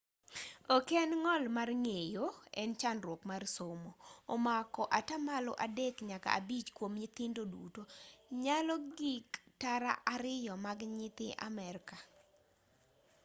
ok en ng'ol mar ng'eyo en chandruok mar somo omako atamalo 3 nyaka 5 kuom nyithindo duto nyalo gik tara 2 mag nyithi amerika